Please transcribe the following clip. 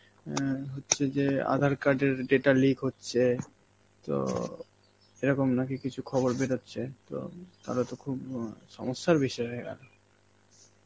অ্যাঁ হচ্ছে যে আধার card এর data leak হচ্ছে, তো এরকম নাকি কিছু খবর বেরোচ্ছে, তো তাহলে তো খুব অ সমস্যার বিষয় হয়ে গেল.